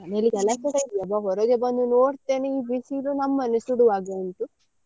ಇಲ್ಲಿ ಒಳಗಡೆ ಇಲ್ಲ ಒಬ್ಬಾ ಹೊರಗೆ ಬಂದು ನೋಡ್ತೇನೆ ಈ ಬಿಸಿಲು ನಮ್ಮನ್ನೇ ಸುಡುವಾಗೇ ಉಂಟು.